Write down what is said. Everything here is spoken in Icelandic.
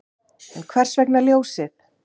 En hvers vegna Ljósið?